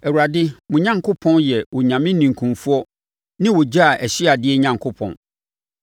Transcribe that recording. Awurade, mo Onyankopɔn, yɛ Onyame ninkunfoɔ ne ogya a ɔhye adeɛ Onyankopɔn.